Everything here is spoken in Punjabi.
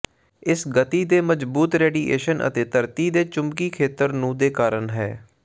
ਇਸ ਗਤੀ ਮਜ਼ਬੂਤ ਰੇਡੀਏਸ਼ਨ ਅਤੇ ਧਰਤੀ ਦੇ ਚੁੰਬਕੀ ਖੇਤਰ ਨੂੰ ਦੇ ਕਾਰਨ ਹੈ